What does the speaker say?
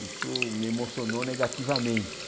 Isso me emocionou negativamente.